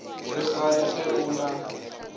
re gane ge o na